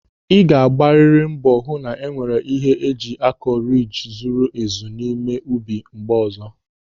Ị ga-agbariri mbọ hụ na-enwere ihe eji akọ riji zuru ezu n'ime ubi mgbe ọzọ.